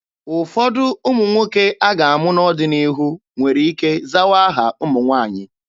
Ụfọdụ ụmụ nwoke a ga-amụ n'ọdịnihu nwere ike zawa aha ụmụ nwaanyị.